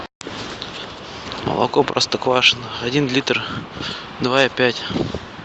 молоко простоквашино один литр два и пять